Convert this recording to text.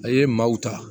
A ye maaw ta